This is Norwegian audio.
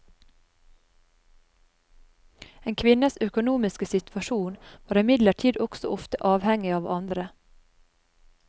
En kvinnes økonomiske situasjon var imidlertid også ofte avhengig av andre.